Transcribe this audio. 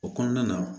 O kɔnɔna na